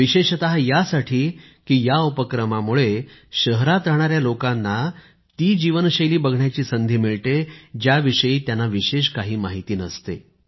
विशेषतः यासाठी की या उपक्रमामुळे शहरात राहणाऱ्या लोकांना ती जीवनशैली बघण्याची संधी मिळते ज्याविषयी त्यांना विशेष काही माहिती नसते